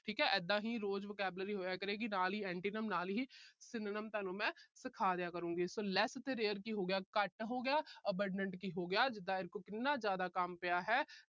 ਠੀਕ ਹੈ ਇਦਾਂ ਹੀ ਰੋਜ vocabulary ਹੋਇਆ ਕਰੇਗੀ। ਨਾਲ ਹੀ antonyms ਨਾਲ ਹੀ synonyms ਤੁਹਾਨੂੰ ਮੈਂ ਸਿਖਾ ਦਿਆ ਕਰੂੰਗੀ। so less ਤੇ rare ਕੀ ਹੋ ਗਿਆ ਘੱਟ ਹੋ ਗਿਆ। abandon ਕੀ ਹੋ ਗਿਆ ਜਿਦਾਂ ਇਹਦੇ ਕੋਲ ਕਿੰਨਾ ਜਿਆਦਾ ਕੰਮ ਪਿਆ ਹੈ।